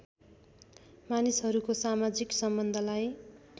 मानिसहरूको समाजिक सम्बन्धलाई